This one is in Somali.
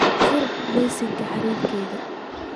fur liiska xiriirkayga